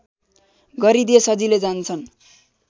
गरिदिए सजिलै जान्छन्